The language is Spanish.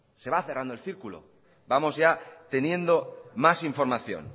se va cerrando el círculo vamos ya teniendo más información